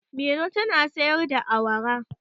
Mairo tana sayar da awara.